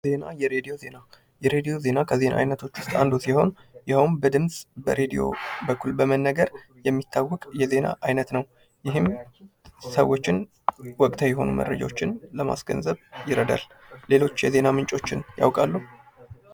ዜና ፦ የሬድዮ ዜና ፦ የሬዲዮ ዜና የዜና አይነቶች ውስጥ አንዱ ሲሆን ይህውም በድምጽ ፣ በሬዲዮ በኩል የመነገር የሚታወቅ የዜና አይነት ነው ። ይህም ሰዎችን ወቅታዊ መረጃዎችን ለማስገንዘብ ይረዳል ። ሌሎች የዜና ምንጮችን እያውቃሉ ?